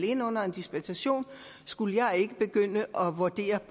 ind under en dispensation skulle jeg ikke begynde at vurdere